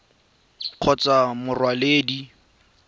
kgotsa mo go mokwaledi mo